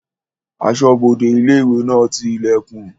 Asọ́bodè ilé-ìwé náà ti ilẹ̀kùn